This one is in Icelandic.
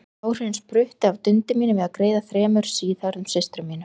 Áhrifin spruttu af dundi mínu við að greiða þremur síðhærðum systrum mínum.